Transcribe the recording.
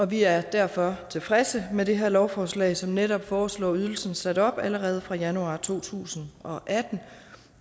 vi er derfor tilfredse med det her lovforslag som netop foreslår ydelsen sat op allerede fra januar to tusind og atten